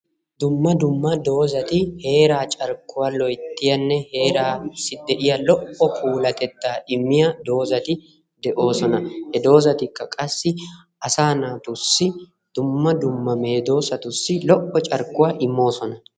Dumma dumma doozzati heeraa carkkuwa loyttiyanne heeraassi de"iya lo"o puulatettaa immiya doozati de"oosona. He doozatikka qassi asaa naatussi dumma dumma medoossatussi lo"o carkkuwa immoosona.